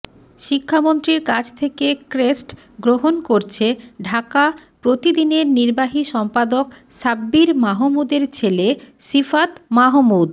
শিক্ষামন্ত্রীর কাছ থেকে ক্রেষ্ট গ্রহন করছে ঢাকা প্রতিদিনের নির্বাহী সম্পাদক সাব্বির মাহমুদের ছেলে শিফাত মাহমুদ